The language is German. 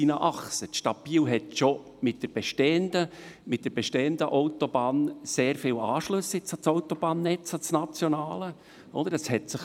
Die Stadt Biel hat schon mit der bestehenden Autobahn sehr viele Anschlüsse an das nationale Autobahnnetz.